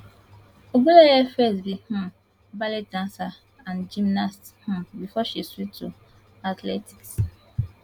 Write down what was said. ogunleye first be um ballet dancer and gymnast um before she switch to athletics